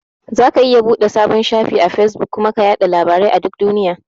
Zaka iya buɗe sabon shafi a Fesbuk kuma ka yaɗa labarai a duk duniya.